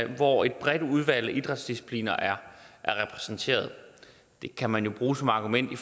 hvor et bredt udvalg af idrætsdiscipliner er repræsenteret det kan man jo bruge som argument i